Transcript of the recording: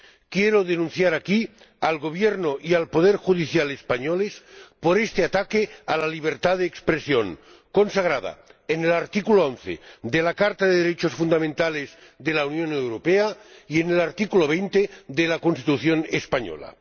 Quiero denunciar aquí al Gobierno y al poder judicial españoles por este ataque a la libertad de expresión, consagrada en el artículo 11 de la Carta de los Derechos Fundamentales de la Unión Europea y en el artículo 20 de la Constitución española.